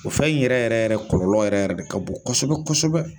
O fɛn in yɛrɛ yɛrɛ yɛrɛ kɔlɔlɔ yɛrɛ yɛrɛ de ka bon kosɛbɛ kosɛbɛ.